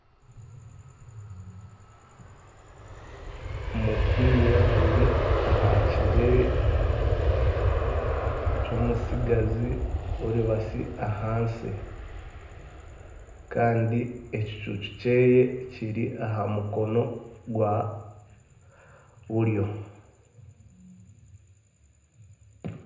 Omupiira guri aha kigyere ky'omutsigazi oribatsi ahansi. Kandi ekicuucu kye kiri aha mukono gwa buryo.